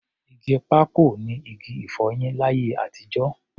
Igi pákò ni igi-ìfọyín láyé àtijọ́.